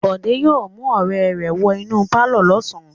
Bọ̀dé yóò mú ọ̀rẹ́ rẹ̀ wọ inú pálọ̀ lọ́sàn-án.